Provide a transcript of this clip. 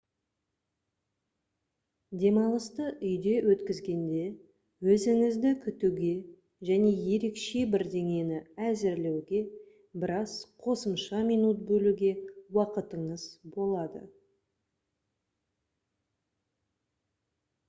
демалысты үйде өткізгенде өзіңізді күтуге және ерекше бірдеңені әзірлеуге біраз қосымша минут бөлуге уақытыңыз болады